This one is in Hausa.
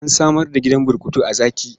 An samar da gidan burkutu a Zaki.